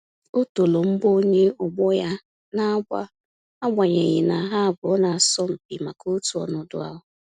O toro mgbọ onye ọgbọ ya na-agba agbanyeghi na ha abụọ na-asọ mpi maka otu ọnọdụ ahụ